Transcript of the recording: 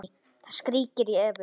Það skríkir í Evu.